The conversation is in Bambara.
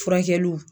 Furakɛliw